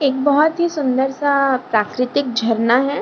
एक बोहोत ही सुंदर-सा प्राकृतिक झरना है।